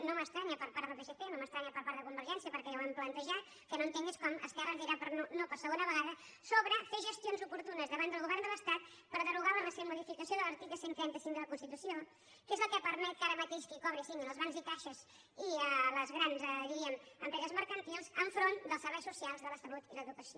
no m’estranya per part del psc no m’estranya per part de convergència perquè ja ho hem plantejat el que no entenc és com esquerra ens dirà no per segona vegada sobre fer gestions oportunes davant del govern de l’estat per derogar la recent modificació de l’article cent i trenta cinc de la constitució que és el que permet que ara mateix qui cobri siguin els bancs i caixes i les grans diríem empreses mercantils enfront dels serveis socials de la salut i l’educació